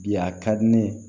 Bi a ka di ne ye